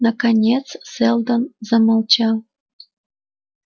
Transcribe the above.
наконец сэлдон замолчал